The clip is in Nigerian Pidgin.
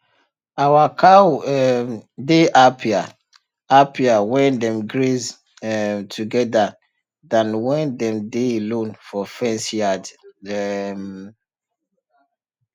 our cow um dey happier happier when dem graze um together than when dem dey alone for fenced yard um